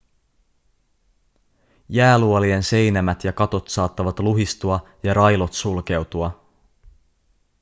jääluolien seinämät ja katot saattavat luhistua ja railot sulkeutua